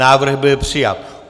Návrh byl přijat.